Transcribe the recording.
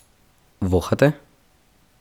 Vohate?